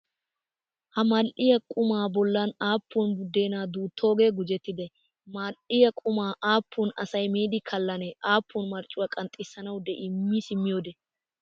Ha madhdhiyaa qumaa bollaan aapuun budeena duuttooge gujjetide? Madhdhiyaa quma aapuun asay miidi kallane aapuun marccuwaa qanxxisanawu de'ii mi simmiyoode?